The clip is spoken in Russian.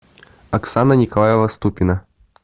оксана николаева ступина